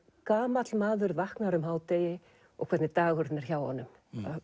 gamall maður vaknar um hádegi og hvernig dagurinn er hjá honum